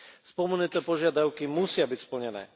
Spomenuté požiadavky musia byť splnené.